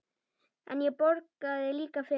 En ég borgaði líka fyrir.